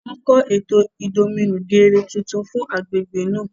Wọn n kọ eto idominugere tuntun fún agbègbè náà